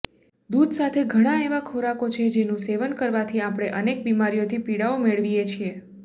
દૂધ સાથે ઘણા એવા ખોરાકો છે જેનું સેવન કરવાથી આપણે અનેક બીમારીઓથી પીડાઓ મેળવીએ છીએ